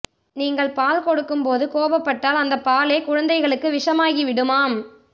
நீங்கள் பால் கொடுக்கும் போது கோபப்பட்டால் அந்த பாலே குழந்தைகளுக்கு விஷமாகி விடுமாம்